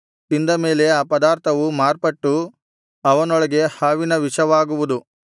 ತಿಂದ ಮೇಲೆ ಆ ಪದಾರ್ಥವು ಮಾರ್ಪಟ್ಟು ಅವನೊಳಗೆ ಹಾವಿನ ವಿಷವಾಗುವುದು